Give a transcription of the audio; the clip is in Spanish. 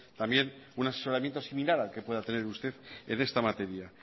también un asesoramiento similar al que pueda tener usted en esta materia